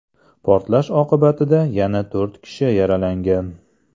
Portlash oqibatida yana to‘rt kishi yaralangan.